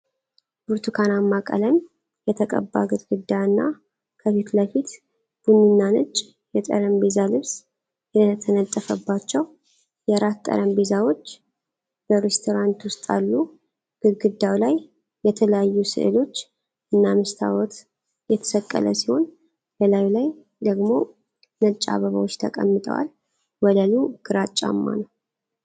ብርቱካናማ ቀለም የተቀባ ግድግዳ እና ከፊት ለፊት ቡኒና ነጭ የጠረጴዛ ልብስ የተነጠፈባቸው የራት ጠረጴዛዎች በሬስቶራንት ውስጥ አሉ። ግድግዳው ላይ የተለያዩ ሥዕሎች እና መስታወት የተሰቀለ ሲሆን በላዩ ላይ ደግሞ ነጭ አበባዎች ተቀምጠዋል። ወለሉ ግራጫማ ነው።